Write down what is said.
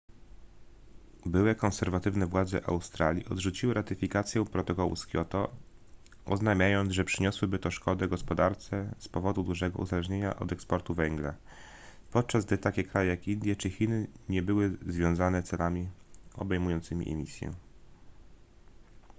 byłe konserwatywne władze australii odrzuciły ratyfikację protokołu z kioto oznajmiając że przyniosłoby to szkodę gospodarce z powodu dużego uzależnienia od eksportu węgla podczas gdy takie kraje jak indie czy chiny nie były związane celami obejmującymi emisję